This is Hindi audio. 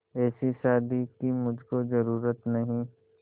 ऐसी शादी की मुझको जरूरत नहीं